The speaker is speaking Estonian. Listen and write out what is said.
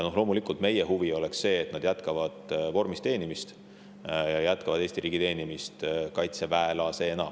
Loomulikult on meie huvi, et nad jätkavad vormis teenimist, jätkavad Eesti riigi teenimist kaitseväelasena.